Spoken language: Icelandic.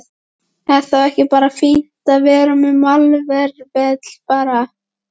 Er þá ekki bara fínt að vera með malarvelli bara?